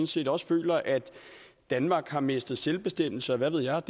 set også føler at danmark har mistet selvbestemmelse og hvad ved jeg